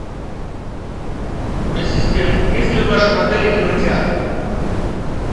ассистент есть ли в вашем отеле кинотеатр